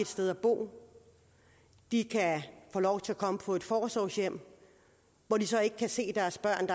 sted at bo de kan få lov til at komme på et forsorgshjem hvor de så ikke kan se deres børn